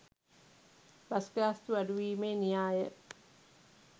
bus ගාස්තු අඩු වීමේ න්‍යාය